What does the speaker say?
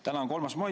Täna on 3. mai.